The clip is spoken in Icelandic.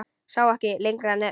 Sá ekki lengra nefi sínu.